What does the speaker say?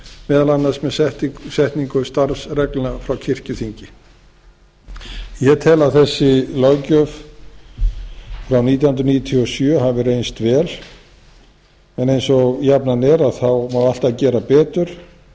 meðal annars með setningu starfsreglna frá kirkjuþingi ég tel að þessi löggjöf frá nítján hundruð níutíu og sjö hafi reynst vel en eins og jafnan er má alltaf gera betur